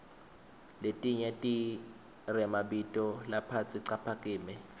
letnye tiremabito laphasi caphakeme